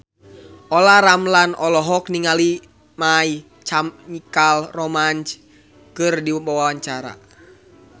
Olla Ramlan olohok ningali My Chemical Romance keur diwawancara